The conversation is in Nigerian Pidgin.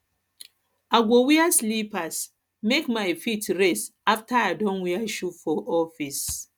i go wear slippers make my feet rest afta i don wear shoe for office